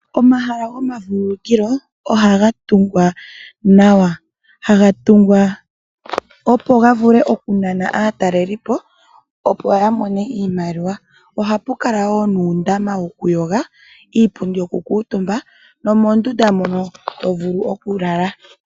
Omahala gomavulukilo ohaga tungwa nawa .ohaga tungwa momukalo gokunana aatalelipo opo yamone iiyemo . Ohaga kala gena uundama wokumbwinda, iipundi yokukuutumbwa moondunda dhokulalwa.